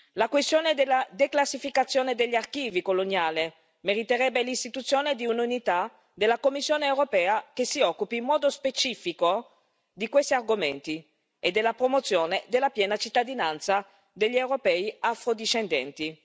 la questione della declassificazione degli archivi coloniali meriterebbero l'istituzione di un'unità della Commissione europea che si occupi in modo specifico di questi argomenti e della promozione della piena cittadinanza degli europei afro discendenti.